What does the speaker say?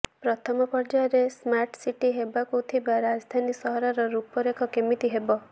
ପ୍ରଥମ ପର୍ଯ୍ୟାୟରେ ସ୍ମାର୍ଟସିଟି ହେବାକୁ ଥିବା ରାଜଧାନୀ ସହରର ରୁପରେଖ କେମିତି ହେବ